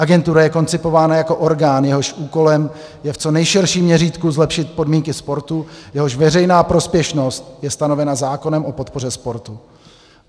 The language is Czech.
Agentura je koncipována jako orgán, jehož úkolem je v co nejširším měřítku zlepšit podmínky sportu, jehož veřejná prospěšnost je stanovena zákonem o podpoře sportu.